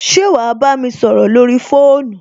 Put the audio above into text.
Ṣé wà á bámi sọrọ lórí fóònù?